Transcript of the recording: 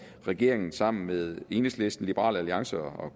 regeringen sammen med enhedslisten liberal alliance og